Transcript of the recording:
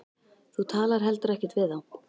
Þú talar heldur ekkert við þá.